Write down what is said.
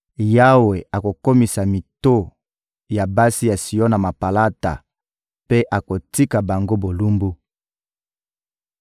Yawe akokomisa mito ya basi ya Siona mapalata mpe akotika bango bolumbu.»